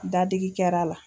Dadigi kɛr'a la